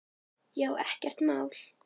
Já, ekkert mál!